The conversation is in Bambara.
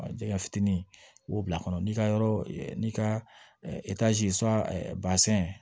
Jɛgɛ fitinin k'o bila kɔnɔ n'i ka yɔrɔ n'i ka